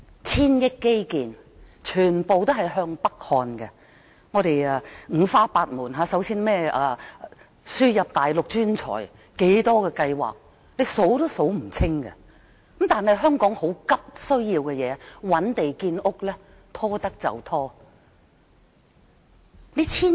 千億元基建全向北看，五花八門，更有輸入內地專才等計劃，多不勝數，但香港急切需要覓地建屋卻不斷拖延。